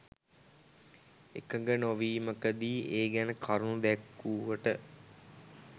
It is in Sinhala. එකඟ නොවීමකදි ඒ ගැන කරුණු දැක්වුවට